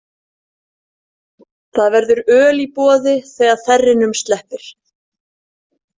Það verður öl í boði þegar þerrinum sleppir.